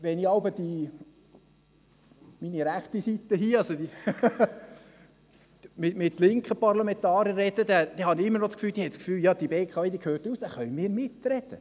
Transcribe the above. – Wenn ich mit jeweils mit meiner rechten Seite, also mit linken Parlamentariern spreche, haben diese ich immer noch das Gefühl, die BKW gehöre uns, da könnten wir mitreden.